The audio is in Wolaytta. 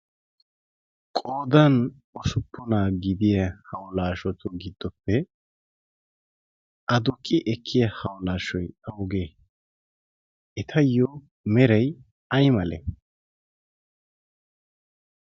qodan osuppunaa gidiya haulaashotu giddoppe aduqi ekkiya haulaashshoy augee etayyo meray ay male?